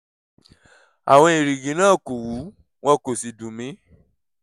àwọn èrìgì náà kò wú wọn kò sì dùn mí